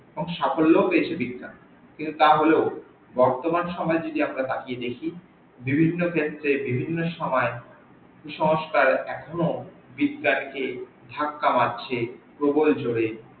এবং সাফল্যও পেয়েছে বিজ্ঞান কিন্তু তাহলেও বর্তমান সমই যদি আমরা তাকিয়ে দেখি, বিভিন্ন ক্ষেত্রে বিভিন্ন সময় কুসংস্কার এখনো বিজ্ঞান কে ধাক্কা মারছে প্রবল জোরে।